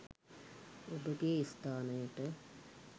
ඔබගේ ස්ථානයට